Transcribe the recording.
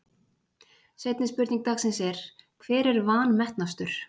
Seinni spurning dagsins er: Hver er vanmetnastur?